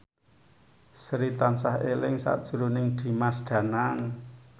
Sri tansah eling sakjroning Dimas Danang